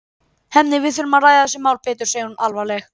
Hemmi, við þurfum að ræða þessi mál betur, segir hún alvarleg.